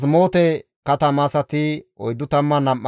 Sana7a katama asati 3,630,